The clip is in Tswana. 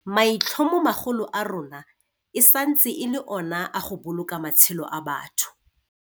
Maitlhomomagolo a rona e santse e le ona a go boloka matshelo a batho.